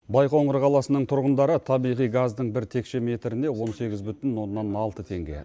байқоңыр қаласының тұрғындары табиғи газдың бір текше метріне он сегіз бүтін оннан алты теңге